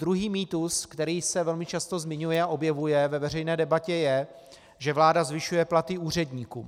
Druhý mýtus, který se velmi často zmiňuje a objevuje ve veřejné debatě, je, že vláda zvyšuje platy úředníkům.